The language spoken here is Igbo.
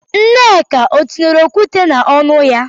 Nneka ọ tinyere okwute n'ọnụ ya?